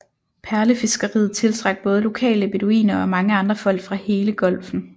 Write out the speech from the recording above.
Perlefiskeriet tiltrak både lokale beduiner og mange andre folk fra hele Golfen